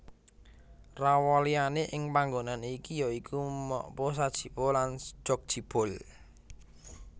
Rawaliyane ing panggonan iki ya iku Mokpo Sajipo lan Jjokjibeol